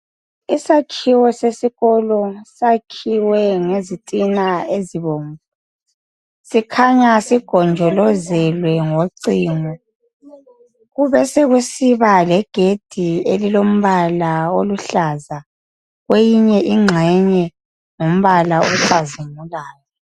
Isakhiwo sesikolo sakhiwe ngezitina ezibomvu sikhanya sigonjolozelwe ngocingo. Kube sekusiba legedi elilombala oluhlaza kweyinye ingxenye ngumbala ocazimulayo.